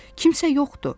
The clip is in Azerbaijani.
Kimsə yoxdur.